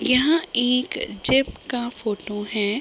यह एक जेब का फोटो है।